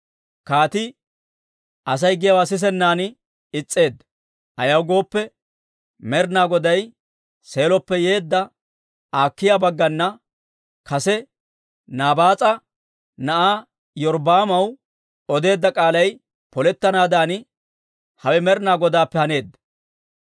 Kaatii Asay giyaawaa sisennan is's'eedda; ayaw gooppe, Med'inaa Goday Seeloppe yeedda Akiiya baggana kase Naabaas'a na'aa Iyorbbaamaw odeedda k'aalay polettanaadan hawe Med'inaa Godaappe haneedda.